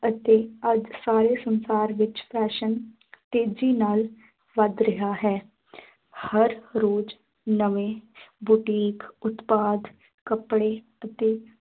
ਅਤੇ ਅੱਜ ਸਾਰੇ ਸੰਸਾਰ ਵਿੱਚ fashion ਤੇਜ਼ੀ ਨਾਲ ਵਧ ਰਿਹਾ ਹੈ ਹਰ ਰੋਜ਼ ਨਵੇਂ ਬੁਟੀਕ ਉਤਪਾਦ ਕੱਪੜੇ ਅਤੇ